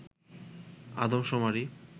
আদম শুমারি